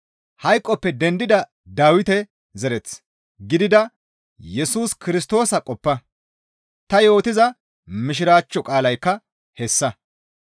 Hayqoppe dendida Dawite zereth gidida Yesus Kirstoosa qoppa; ta yootiza mishiraachcho qaalaykka hessa.